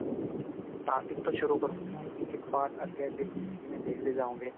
starting ਤੋਂ ਸ਼ੁਰੂ ਕਰੋਂਗੇ ਨਾ ਇੱਕ ਇੱਕ part ਅੱਗੇ ਅੱਗੇ ਜਿਵੇਂ ਜਿਵੇਂ ਦੇਖਦੇ ਜਾਓਗੇ